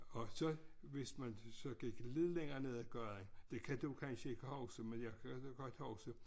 Og så hvis man så gik lidt længere ned af gaden det kan du kansje ikke huske men jeg kan godt huske